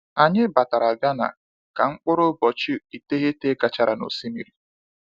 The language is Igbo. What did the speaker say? Anyị batara Ghana ka mkpụrụ ụbọchị iteghete gachara na osimiri.